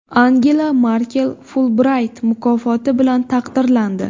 Angela Merkel Fulbrayt mukofoti bilan taqdirlandi.